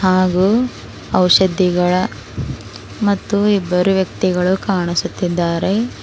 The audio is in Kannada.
ಹಾಗು ಔಷಧಿಗಳ ಮತ್ತು ಇಬ್ಬರು ವ್ಯಕ್ತಿಗಳು ಕಾಣಿಸುತ್ತಿದ್ದಾರೆ.